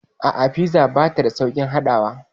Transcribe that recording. A'a, fiza bata da sauƙin haɗawa.